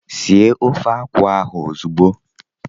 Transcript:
Sie ofe akwụ ahụ ozugbo!